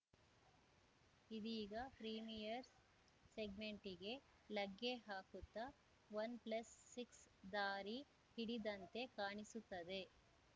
ಇದೀಗ ಪ್ರೀಮಿಯರ್‌ ಸೆಗ್ಮೆಂಟಿಗ್ಗೆ ಲಗ್ಗೆ ಹಾಕುತ್ತಾ ವನ್‌ ಪ್ಲಸ್‌ ಸಿಕ್ಸ್‌ ದಾರಿ ಹಿಡಿದಂತೆ ಕಾಣಿಸುತ್ತದೆ